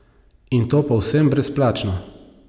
In to povsem brezplačno!